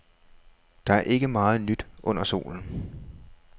Der er ikke meget nyt under solen.